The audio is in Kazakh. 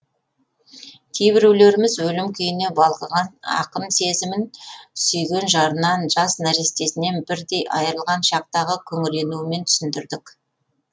кейбіреулеріміз өлім күйіне балқыған ақын сезімін сүйген жарынан жас нәрестесінен бірден айырылған шақтағы күңіренуімен түсіндірдік